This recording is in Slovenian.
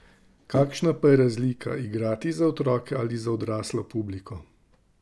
Kakšna pa je razlika, igrati za otroke ali za odraslo publiko?